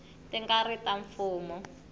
ti nga ri ta mfumo